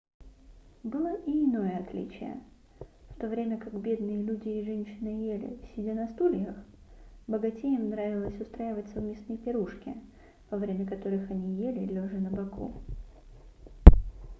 было и иное отличие в то время как бедные люди и женщина ели сидя на стульях богатеям нравилось устраивать совместные пирушки во время которых они ели лежа на боку